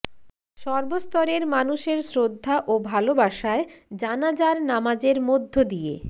সর্বস্তরের মানুষের শ্রদ্ধা ও ভালোবাসায় জানাযার নামাজের মধ্য দিয়ে